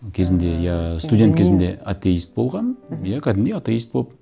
кезінде иә студент кезімде атеист болғанмын мхм иә кәдімгідей атеист болып